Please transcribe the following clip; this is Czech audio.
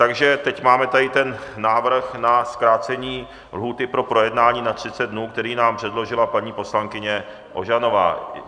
Takže teď máme tady ten návrh na zkrácení lhůty pro projednání na 30 dnů, který nám předložila paní poslankyně Ožanová.